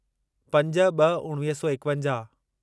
पंज ॿ उणिवीह सौ एकवंजाहु